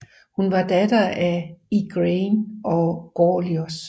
Hun var datter af Igraine og Gorlois